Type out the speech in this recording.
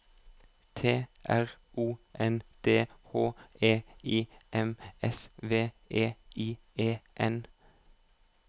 T R O N D H E I M S V E I E N